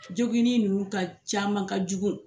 Joginni nunnu ka caman ka jugu.